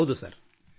ಹೌದು ಸರ್ हाँ ಸಿರ್